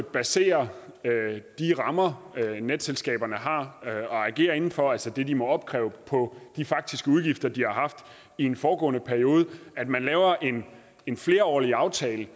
baserer de rammer netselskaberne har at agere inden for altså det de må opkræve på de faktiske udgifter de har haft i en foregående periode på at man laver en en flerårig aftale